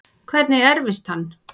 Hvernig erfist hann?